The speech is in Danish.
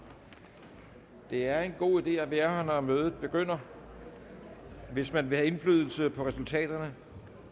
det er en god idé at være her når mødet begynder hvis man vil have indflydelse på resultaterne